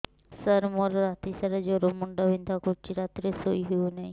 ସାର ମୋର ରାତି ସାରା ଜ୍ଵର ମୁଣ୍ଡ ବିନ୍ଧା କରୁଛି ରାତିରେ ଶୋଇ ହେଉ ନାହିଁ